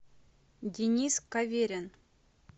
денис каверин